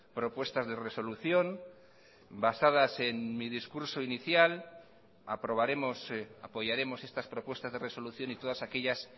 propuestas de resolución basadas en mi discurso inicial aprobaremos apoyaremos estas propuestas de resolución y todas aquellas